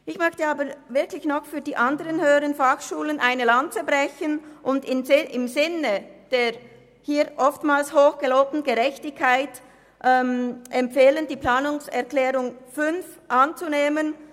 Ich möchte nun für die anderen HF eine Lanze brechen und im Sinne der hier oftmals hoch gelobten Gerechtigkeit empfehlen, die Planungserklärung 5 anzunehmen.